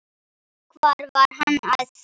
Hvar var Hann að finna?